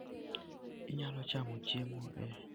Inyalo chamo chiemo e otende ma nengogi ni piny.